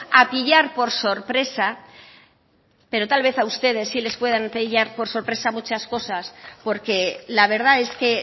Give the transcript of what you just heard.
a pillar por sorpresa pero tal vez a ustedes sí les pueden pillar por sorpresa muchas cosas porque la verdad es que